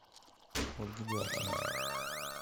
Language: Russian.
ольги галкиной